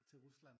Til Rusland?